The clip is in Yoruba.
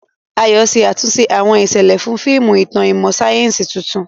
Ayo ṣe àtúnṣe àwọn ìṣẹ̀lẹ̀ fún fíìmù ìtàn ìmọ̀ sáyẹ́sì tuntun.